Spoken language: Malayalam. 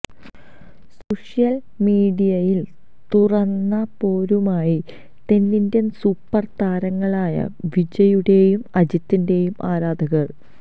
സോഷ്യല് മീഡിയയില് തുറന്ന പോരുമായി തെന്നിന്ത്യന് സൂപ്പര് താരങ്ങളായ വിജയുടേയും അജിത്തിന്റെയും ആരാധകര്